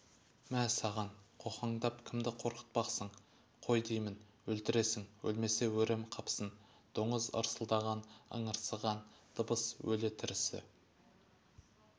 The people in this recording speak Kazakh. мә саған қоқаңдап кімді қорқытпақсың қой деймін өлтіресің өлмесе өрем қапсын доңыз ырсылдаған ыңырсыған дыбыс өлі-тірісі